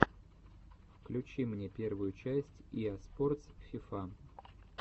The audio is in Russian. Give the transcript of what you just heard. включи мне первую часть иа спортс фифа